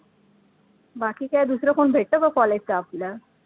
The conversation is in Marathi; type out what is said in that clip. बाकी काय दुसरं कोण भेटतं का college चं आपल्या